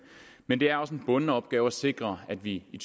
men det er også en bunden opgave at sikre at vi i